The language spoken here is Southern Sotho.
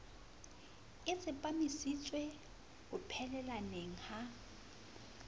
a tsepamisitswe ho phelelaneng ha